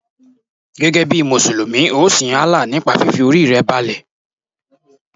Gẹ́gẹ́ bí Mùsùlùmí, ọ sin Allah nípa fífi Orí rẹ balẹ̀.